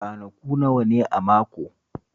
Ranaku nawa ne a mako?